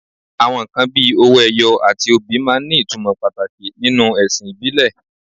Àwọn nǹkan bíi owó ẹyọ àti obì máa ń ní ìtumọ̀ pàtàkì nínú ẹ̀sìn ìbílẹ̀